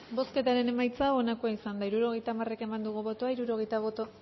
bozketaren emaitza onako izan da hirurogeita hamar eman dugu bozka